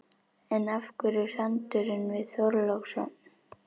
En af hverju sandurinn við Þorlákshöfn?